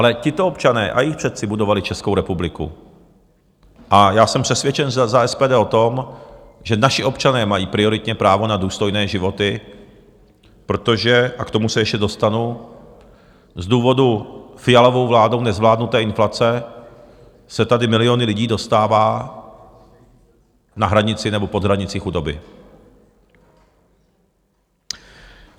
Ale tito občané a jejich předci budovali Českou republiku a já jsem přesvědčen za SPD o tom, že naši občané mají prioritně právo na důstojné životy, protože, a k tomu se ještě dostanu, z důvodu Fialovou vládou nezvládnuté inflace se tady miliony lidí dostává na hranici nebo pod hranici chudoby.